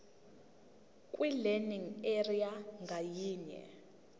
kwilearning area ngayinye